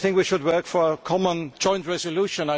I think we should work for a common joint resolution.